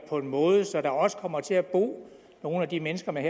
på en måde så der også kommer til at bo nogle af de mennesker man